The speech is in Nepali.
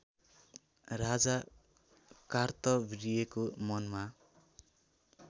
राजा कार्तविर्यको मनमा